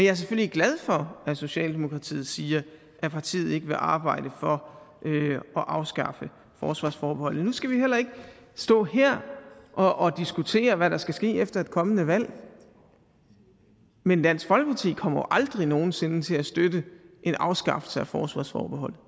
er selvfølgelig glad for at socialdemokratiet siger at partiet ikke vil arbejde for at afskaffe forsvarsforbeholdet men nu skal vi heller ikke stå her og og diskutere hvad der skal ske efter et kommende valg men dansk folkeparti kommer jo aldrig nogen sinde til at støtte en afskaffelse af forsvarsforbeholdet